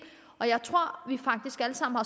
jeg